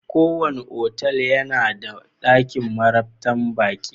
Kowane otal yana da dakin marabtan baki.